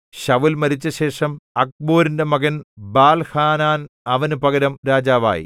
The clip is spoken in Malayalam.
ശൌല്‍ മരിച്ചശേഷം അക്ബോരിന്റെ മകൻ ബാൽഹാനാൻ അവന് പകരം രാജാവായി